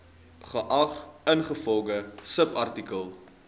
geag ingevolge subartikel